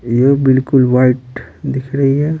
ये बिल्कुल वाइट दिख रही है।